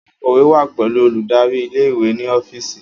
Akọ̀wé wa pẹlu oludari ìle-ìwe ni ọfíìsì